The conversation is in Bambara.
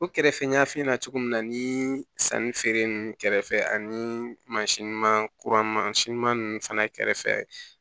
O kɛrɛfɛ n y'a f'i ɲɛna cogo min na nii sanni feere ninnu kɛrɛfɛ ani mansin ɲuman kuran masi ɲuman ninnu fana kɛrɛfɛ